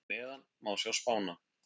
Hér að neðan má sjá spána.